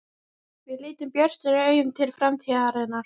Við lítum björtum augum til framtíðarinnar.